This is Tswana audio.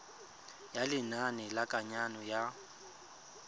ya lenane la kananyo ya